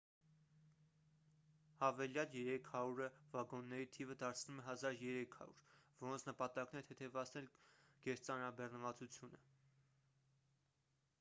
հավելյալ 300-ը վագոնների թիվը դարձնում է 1,300 որոնց նպատակն է թեթևացնել գերծանրաբեռնվածությունը